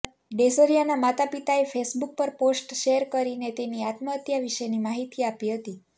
ડેઝરિયાના માતા પિતાએ ફેસબૂક પર પોસ્ટ શૅર કરીને તેની આત્મહત્યા વિશેની માહીતી આપી હતી